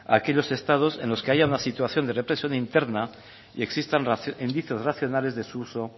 a aquellos estados en los que haya una situación de represión interna y existan indicios racionales de su uso